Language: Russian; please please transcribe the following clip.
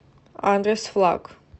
адрес флаг